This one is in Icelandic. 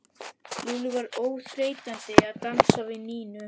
Lúlli var óþreytandi að dansa við Nínu.